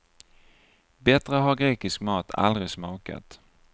Bättre har grekisk mat aldrig smakat.